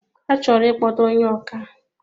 A chọrọ ikpọta ónyé ọkà